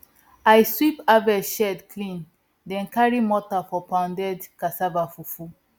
i sweep harvest shed clean then carry mortar for pounded cassava fufu